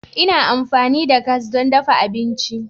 Ina amfani da gas don dafa abinci.